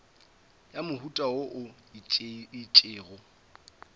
ya mohuta wo o itšego